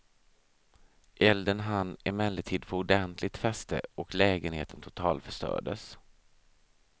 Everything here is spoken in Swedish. Elden hann emellertid få ordentligt fäste och lägenheten totalförstördes.